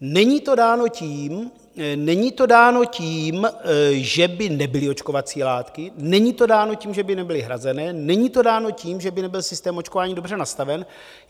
Není to dáno tím, že by nebyly očkovací látky, není to dáno tím, že by nebyly hrazené, není to dáno tím, že by nebyl systém očkování dobře nastaven.